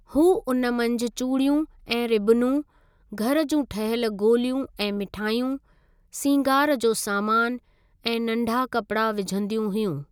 हू उन मंझि चूड़ियूं ऐं रिबनूं घर जूं ठहियल गोलियूं ऐं मिठायूं, सिंगारु जो सामान ऐं नंढा कपिड़ा विझंदियूं हुयूं।